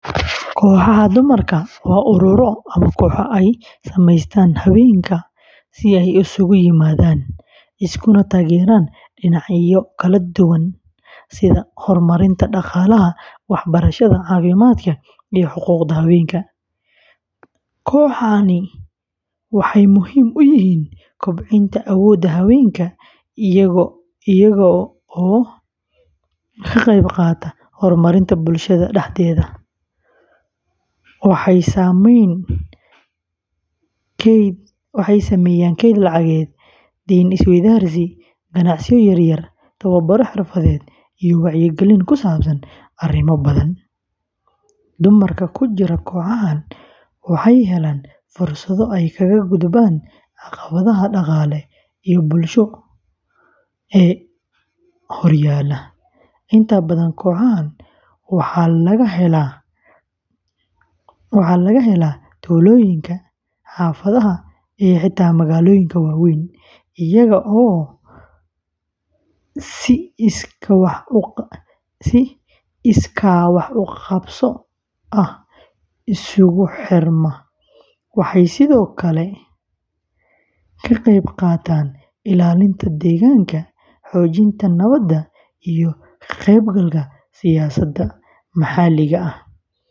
Kooxaha dumarka waa ururro ama kooxo ay sameystaan haweenka si ay isugu yimaadaan, iskuna taageeraan dhinacyo kala duwan sida horumarinta dhaqaalaha, waxbarashada, caafimaadka, iyo xuquuqda haweenka. Kooxahani waxay muhiim u yihiin kobcinta awoodda haweenka iyagoo ka qayb qaata horumarinta bulshada dhexdeeda. Waxay sameeyaan kayd lacageed, deyn-is-weydaarsi, ganacsiyo yaryar, tababaro xirfadeed, iyo wacyigelin ku saabsan arrimo badan. Dumarka ku jira kooxahan waxay helaan fursado ay kaga gudbaan caqabadaha dhaqaale iyo bulsho ee horyaalla. Inta badan kooxahan waxaa laga helaa tuulooyinka, xaafadaha, iyo xitaa magaalooyinka waaweyn, iyagoo si iskaa-wax-u-qabso ah iskugu xirma. Waxay sidoo kale ka qayb qaataan ilaalinta deegaanka, xoojinta nabadda, iyo ka qeybgalka siyaasadda maxalliga ah.